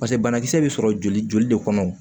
Paseke banakisɛ bɛ sɔrɔ joli joli de kɔnɔ